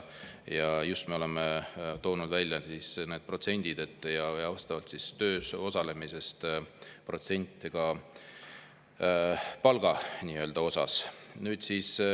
Me oleme toonud välja just need protsendid ja vastavalt töös osalemisele ka protsendid palgast.